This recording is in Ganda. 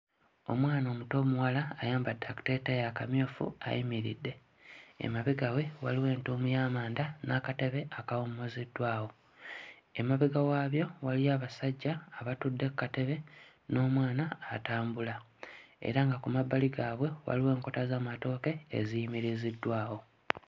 Omwana omuto omuwala ayambadde akateeteeyi akamyufu ayimiridde. Emabega we waliwo entuumu y'amanda n'akatebe akawummuziddwawo. Emabega waabyo waliyo abasajja abatudde ku katebe n'omwana atambula era nga ku mabbali gaabwe waliwo enkota z'amatooke eziyimiriziddwawo.